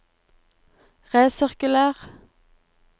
resirkuler